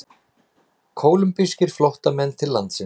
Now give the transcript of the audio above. Kólumbískir flóttamenn til landsins